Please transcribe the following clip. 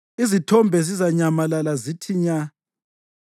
izithombe zizanyamalala zithi nya.